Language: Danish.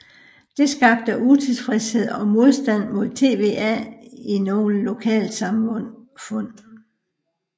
Det skabte utilfredshed og modstand mod TVA i nogle lokalsamfund